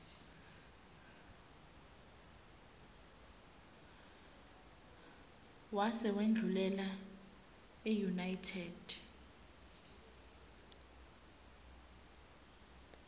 wase wendlulela eunited